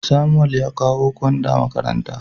Samuel ya kawo gwanda makaranta.